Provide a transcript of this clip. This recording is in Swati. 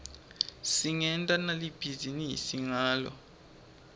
singenta nali bhizinisi ngato